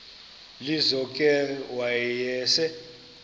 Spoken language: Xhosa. lizo ke wayesel